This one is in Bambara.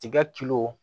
Tiga